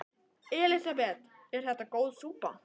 Elísabet: Er þetta góð súpa?